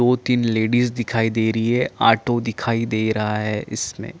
दो तीन लेडीज दिखाई दे रही है ऑटो दिखाई दे रहा है इसमें --